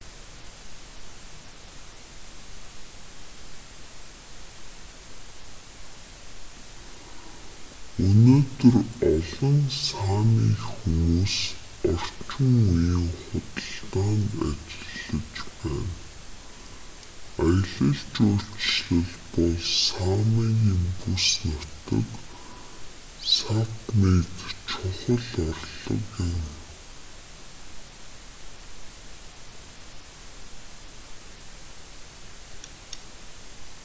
өнөөдөр олон сами хүмүүс орчин үеийн худалдаанд ажиллаж байна аялал жуулчлал бол самигийн бүс нутаг сапмид чухал орлого юм